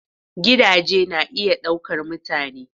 Gidaje na iya ɗaukar mutane.